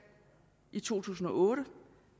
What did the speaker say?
i to tusind og otte